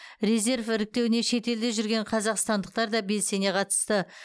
резерв іріктеуіне шетелде жүрген қазақстандықтар да белсене қатысты